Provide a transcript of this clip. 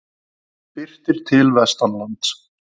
Birtir til vestanlands